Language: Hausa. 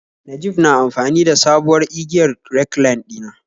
Najib na amfani da da sabuwar igiyar recline dina